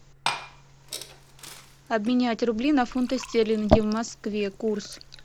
обменять рубли на фунты стерлинги в москве курс